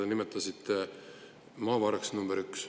Te nimetasite maavaraks number üks.